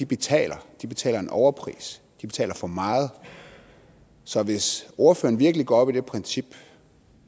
betaler og de betaler en overpris de betaler for meget så hvis ordføreren virkelig går op i det princip